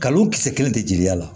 Kalon kisɛ kelen tɛ jigiya la